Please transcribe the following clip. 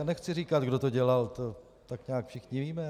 A nechci říkat, kdo to dělal, to tak nějak všichni víme.